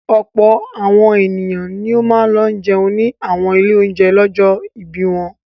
Ọ̀pọ̀ àwọn ènìyàn ni ó máa lọ jẹun ní àwọn ilé-oúnjẹ lọ́jọ́ ìbí wọn.